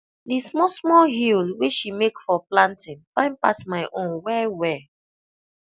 the small small hill wey she make for planting fine pass my own wellwell